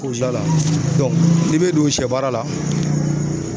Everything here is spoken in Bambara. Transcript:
la n'i be don sɛ baara la